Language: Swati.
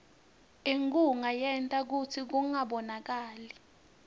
inkhunga yenta kutsi kungabonakali